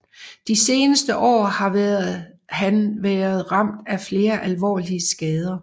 De seneste år har været han været ramt af flere alvorlige skader